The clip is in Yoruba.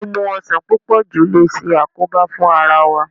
Mímu ọsàn púpọ̀ jù le ṣàkóbá fún ara wa.